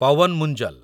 Pawan Munjal